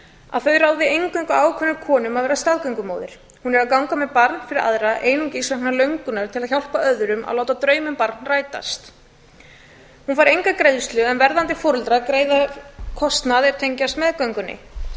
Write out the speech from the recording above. að þau ráði eingöngu ákveðnum konum að vera staðgöngumóðir hún er að ganga með barn fyrir aðra einungis vegna löngunar til að hjálpa öðrum að láta draum um barn rætast hún fær enga greiðslu en verðandi foreldrar greiða kostnað er tengjast